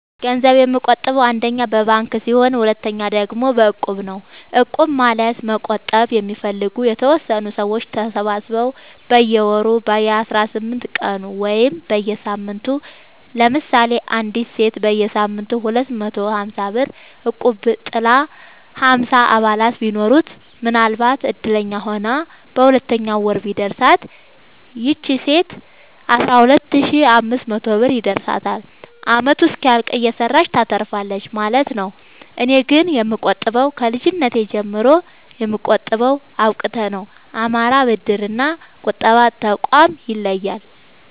ገንዘብ የምቆ ጥበው አንደኛ በባንክ ሲሆን ሁለተኛ ደግሞ በእቁብ ነው እቁብ ማለት መቁጠብ የሚፈልጉ የተወሰኑ ሰዎች ተሰባስበው በየወሩ በየአስራአምስት ቀኑ ወይም በየሳምንቱ ለምሳሌ አንዲት ሴት በየሳምንቱ ሁለት መቶ ሀምሳብር እቁብጥል ሀምሳ አባላት ቢኖሩት ምናልባትም እድለኛ ሆና በሁለተኛው ወር ቢደርሳት ይቺ ሴት አስራሁለት ሺ አምስት መቶ ብር ይደርሳታል አመቱ እስኪያልቅ እየሰራች ታተርፋለች ማለት ነው። እኔ ግን የምቆጥበው ከልጅነቴ ጀምሮ የምጠቀመው አብቁተ ነው። አማራ ብድር እና ቁጠባ ጠቋም ይለያል።